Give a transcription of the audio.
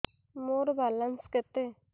ମୋର ବାଲାନ୍ସ କେତେ